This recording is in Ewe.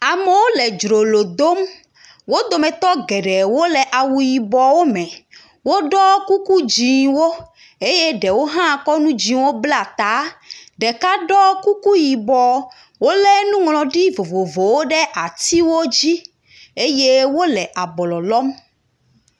Amewo le dzrolo dom. Wo dometɔ geɖewo le awu yibɔwo me. Woɖɔ kuku dzĩwo eye ɖewo hã kɔ nu dzĩwo bla tae. Ɖeka ɖɔ kuku yibɔ. Wolé nuŋlɔɖi vovovowo ɖe atiwo dzi eye wole abɔlɔ lɔm.